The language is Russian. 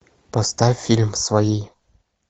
поставь фильм свои